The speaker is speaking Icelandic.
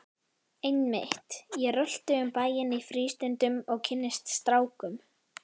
Einmitt, ég rölti um bæinn í frístundum og kynnist strákum!